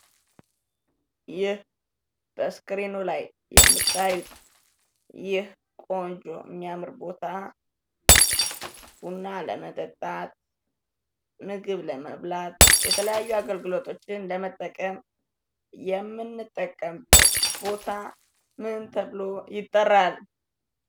ይህ መስከሬኑ ላይ የምታዩት ይህ የሚያምር ቆንጆ ቦታ ቡና ለመጠጣት ምግብ ለመብላት የተለያዩ አገልግሎቶችን ለመጠቀም የሚያገለግል ቦታ ምን ተብሎ ይጠራል?